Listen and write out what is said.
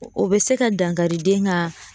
O o bɛ se ka dankari den ka